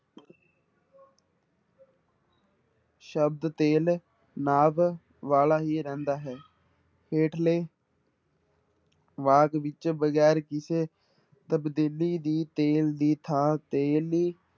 ਸ਼ਬਦ ਤੇਲ ਨਾਵ ਵਾਲਾ ਹੀ ਰਹਿੰਦਾ ਹੈ ਹੇਠਲੇ ਵਾਕ ਵਿੱਚ ਵਗ਼ੈਰ ਕਿਸੇ ਤਬਦੀਲੀ ਦੀ ਤੇਲ ਦੀ ਥਾਂ ਤੇਲੀ